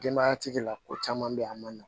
Denbayatigi la ko caman be yen a ma nɔgɔn